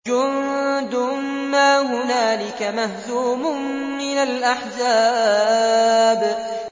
جُندٌ مَّا هُنَالِكَ مَهْزُومٌ مِّنَ الْأَحْزَابِ